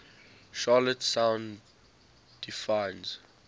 charlotte sound defines